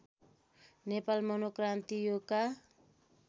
नेपाल मनोक्रान्ति योगका